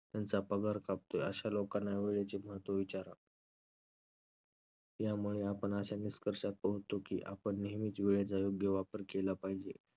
त्यांचा पगार कापतोय अशा लोकांना वेळेचे महत्व विचारा. यामुळे आपण अशा निष्कर्षात पाहतोय की आपण नेहमीच वेळेचा योग्य वापर केला पाहिजे.